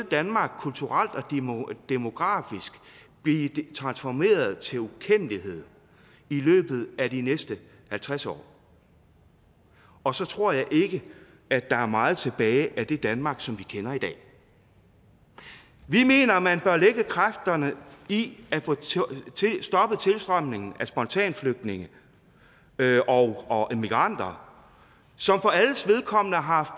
danmark kulturelt og demografisk blive transformeret til ukendelighed i løbet af de næste halvtreds år og så tror jeg ikke at der er meget tilbage af det danmark som vi kender i dag vi mener at man bør lægge kræfterne i at få stoppet tilstrømningen af spontanflygtninge og og immigranter som for alles vedkommende har haft